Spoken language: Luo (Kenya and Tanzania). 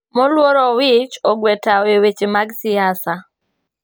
Moluor Owich ogwe tao e weche mag siasa